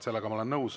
Sellega ma olen nõus.